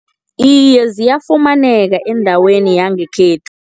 Iye ziyafumaneka endaweni yangekhethu.